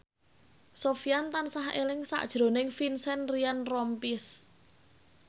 Sofyan tansah eling sakjroning Vincent Ryan Rompies